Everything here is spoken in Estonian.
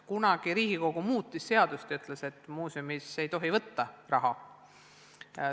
Kunagi Riigikogu plaanis muuta seadust ja teha nii, et muuseumis ei tohi võtta raha.